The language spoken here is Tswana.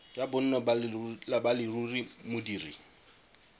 ya bonno ba leruri modiri